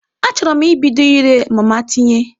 Achọrọ m ibido ire mama tinye.